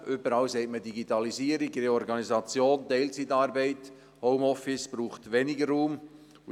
Überall spricht man von Digitalisierung, Reorganisation, Teilzeitarbeit und Homeoffice, was weniger Raum benötigt.